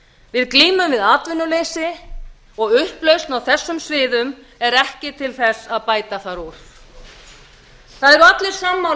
við glímum við atvinnuleysi og upplausn á þessum sviðum er ekki til þess að bæta þar úr allir eru sammála